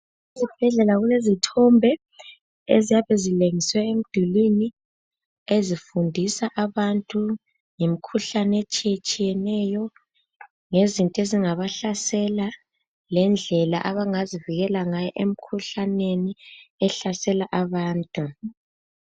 Esibhedlela kulezithombe eziyabe zilengiswe emdulwini ezifundisa abantu ngemkhuhlane etshiyetshiyeneyo, ngezinto ezingabahlasela lendlela abangazivikela ngayo emkhuhlaneni ehlasela abantu.